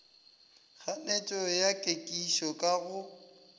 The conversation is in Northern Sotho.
kganetšo ya kekišo ka go